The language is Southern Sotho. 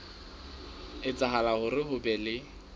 etsahala hore ho be le